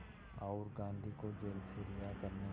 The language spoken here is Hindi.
और गांधी को जेल से रिहा करने